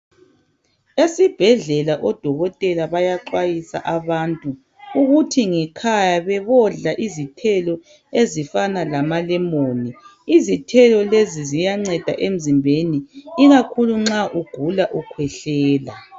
esibhedlelao dokotela bayaxwayisa abantu ukuthi ngekhaya bebodla izithelo ezifanan lama lemon izithelo lezi ziyanceda emzimbeni ikakhulu nxa ugula ukhwehlela